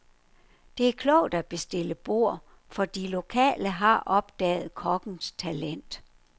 Det er klogt at bestille bord, for de lokale har opdaget kokkens talent.